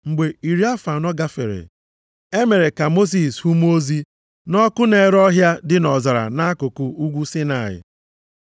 “Mgbe iri afọ anọ gafere, e mere ka Mosis hụ mmụọ ozi nʼọkụ na-ere ọhịa dị nʼọzara, nʼakụkụ Ugwu Saịnaị.